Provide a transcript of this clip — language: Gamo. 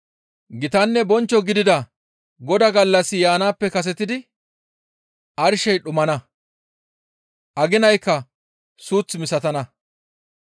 Gitanne bonchcho gidida Godaa gallassi yaanaappe kasetidi arshey dhumana; aginaykka suuth misatana.